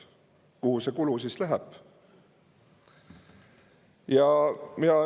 Kuhu see siis läheb?